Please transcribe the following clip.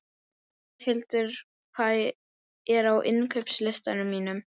Geirhildur, hvað er á innkaupalistanum mínum?